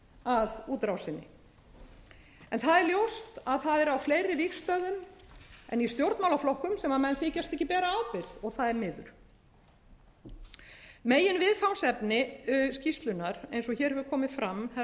að útrásinni það er ljóst að það er á fleiri vígstöðvum en í stjórnmálaflokkum sem menn þykjast ekki bera ábyrgð og það er miður meginviðfangsefni skýrslunnar eins og hér hefur komið fram herra